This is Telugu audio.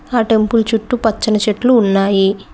ఆ టెంపుల్ చుట్టూ పచ్చని చెట్లు ఉన్నాయి.